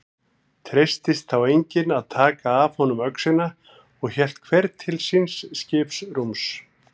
Treystist þá enginn að taka af honum öxina og hélt hver til síns skipsrúms.